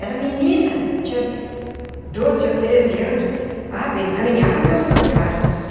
Era menina, tinha doze ou treze anos, ah bem ganhava meus trocados.